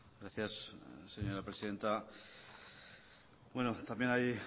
gracias señora presidenta también hay